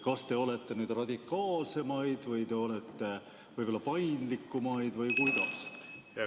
Kas te olete nüüd radikaalsemaid või te olete võib-olla paindlikumaid või kuidas?